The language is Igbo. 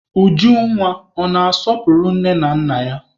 Ujunwa ọ na-asọpụrụ nne na nna ya?